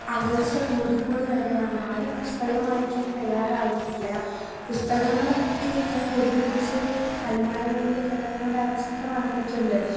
അകൽച്ച കൂടിക്കൂടി വരുകയാണ്. ആരും പുസ്തകം വായിക്കാൻ തയ്യാറാകുന്നില്ല. പുസ്തകങ്ങളൊക്കെ ഇങ്ങനെ പൊടിപിടിച്ച അലമാരകളിൽ കിടക്കുന്ന ഒരു അവസ്ഥ അവസ്ഥ വന്നിട്ടുണ്ട്.